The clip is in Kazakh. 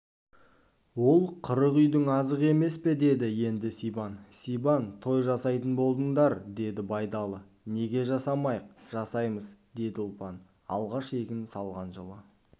ол қырық үйдің азығы емес пе деді енді сибан сабан той жасайтын болдыңдар деді байдалы неге жасамайық жасаймыз деді ұлпан алғаш егін салған жылы